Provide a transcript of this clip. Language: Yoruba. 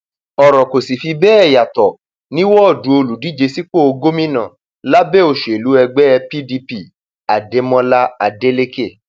ọrọ kò sì fi bẹẹ yàtọ ní wọọdù olùdíje sípò gómìnà lábẹ òṣèlú ẹgbẹ pdp adémọlá adeleke